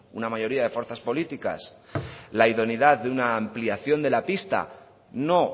una mayoría de fuerzas política la idoneidad de una ampliación de la pista no